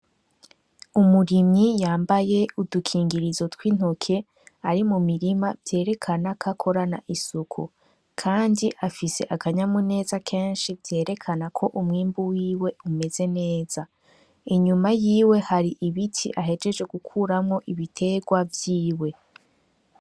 Umurimyi yambaye udukingirizo tw'intoke, ari mumirima vyerekana kwakorana isuku. Kandi afise akanyamuneza kenshi vyerekana ko umwimbu wiwe umeze neza. Inyuma yiwe hari ibiti ahejeje gukuramwo ibitegwa vyiwe.